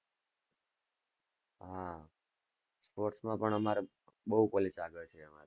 હા, sports માં પણ અમારે બોવ college આગળ છે અમારી,